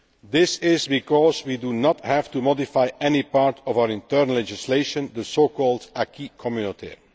This is because we do not have to modify any part of our internal legislation, the so called acquis communautaire.